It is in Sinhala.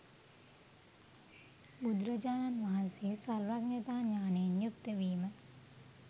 බුදුරජාණන් වහන්සේ සර්වඥතා ඥානයෙන් යුක්තවීම